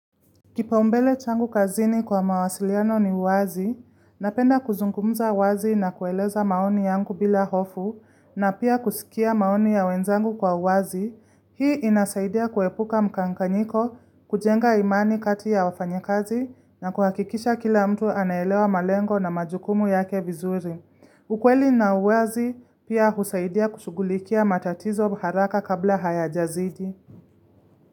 Kipaumbele changu kazini kwa mawasiliano ni wazi, napenda kuzungumuza wazi na kueleza maoni yangu bila hofu, na pia kusikia maoni ya wenzangu kwa wazi, hii inasaidia kuepuka mchanyanyiko, kujenga imani kati ya wafanyakazi, na kuhakikisha kila mtu anaelewa malengo na majukumu yake vizuri. Ukweli na uwazi pia husaidia kushughulikia matatizo haraka kabla hayajazidi.